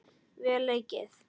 Vel leikið.